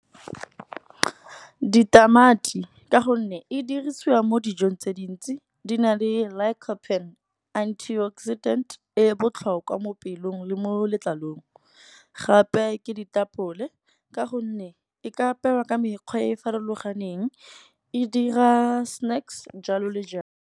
Ditamati ka gonne e dirisiwa mo dijong tse dintsi. Di na le lycopene antioxidant e botlhokwa mo pelong le mo letlalong. Gape ke ditapole ka gonne e ka apewa ka mekgwa ya farologaneng e dira snacks jalo le jalo.